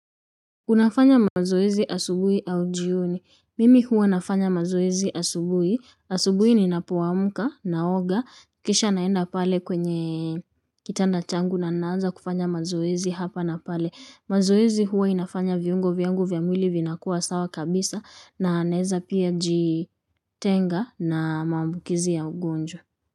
Unafanya mazoezi asubuhi au jioni. Mimi huwa nafanya mazoezi asubuhi. Asubuhi ninapoamka naoga. Kisha naenda pale kwenye kitanda changu na naanza kufanya mazoezi hapa na pale. Mazoezi huwa inafanya viungo vyangu vya mwili vinakuwa sawa kabisa na naeza pia jitenga na maambukizi ya ugonjwa.